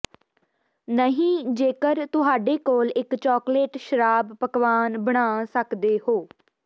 ਨਹੀ ਜੇਕਰ ਤੁਹਾਡੇ ਕੋਲ ਇੱਕ ਚਾਕਲੇਟ ਸ਼ਰਾਬ ਪਕਵਾਨ ਬਣਾ ਸਕਦੇ ਹੋ